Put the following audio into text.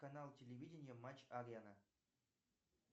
канал телевидения матч арена